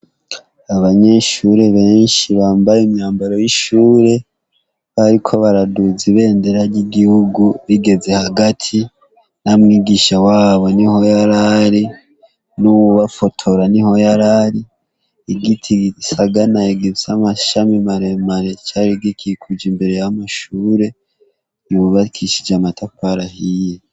Abanyeshuri bambaye imyambaro y'ishuri bariko baraduza ibendera ry'igihugu rigeze hagati, na mwigisha wabo niho yarari n'uwubafotora niho yarari, igiti gisaraye gifise amashami maremare, gikukujwe imbere y'amashure yubakishije amatafari ahiye.